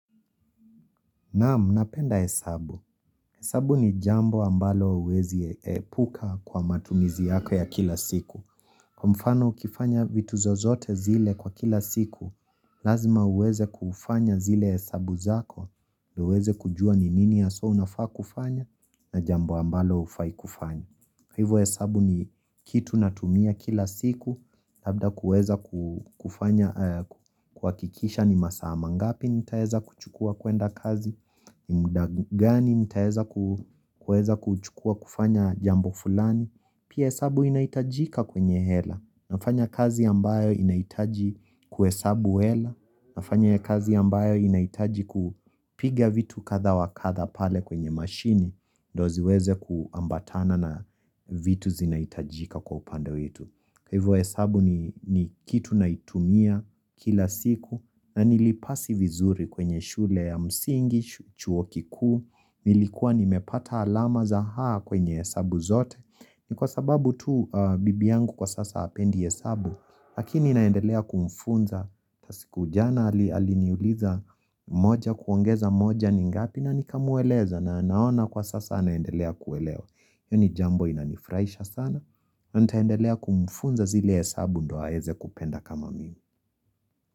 Naam napenda hesabu. Hesabu ni jambo ambalo huwezi epuka kwa matumizi yako ya kila siku. Kwa mfano ukifanya vitu zozote zile kwa kila siku, lazima uweze kufanya zile hesabu zako, ndio uweze kujua ni nini haswa unafaa kufanya, na jambo ambalo hufai kufanya. Hivo hesabu ni kitu natumia kila siku, labda kuweza kufanya kuhakikisha ni masaa. Mangapi nitaeza kuchukua kuenda kazi, ni muda gani nitaweza kuchukua kufanya jambo fulani, pia hesabu inaitajika kwenye hela. Nafanya kazi ambayo inaitaji kuhesabu hela, nafanya kazi ambayo inaitaji kupiga vitu kadha wakadha pale kwenye mashini, ndio ziweze kuambatana na vitu zinahitajika kwa upande wetu. Kwa hivyo hesabu ni kitu naitumia kila siku na nilipasi vizuri kwenye shule ya msingi, chuo kiku, nilikuwa nimepata alama za A kwenye hesabu zote. Ni kwa sababu tu bibi yangu kwa sasa hapendi hesabu, lakini naendelea kumfunza kila siku jana aliniuliza moja kuongeza moja ni ngapi na nikamueleza na naona kwa sasa anaendelea kuelewa. Hili jambo linanifurahisha sana, na nitaendelea kumfunza zile hesabu ndio aweze kupenda kama mimi.